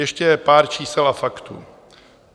Ještě pár čísel a faktů.